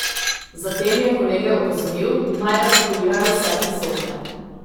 Zatem je kolege opozoril naj evakuirajo vse prisotne.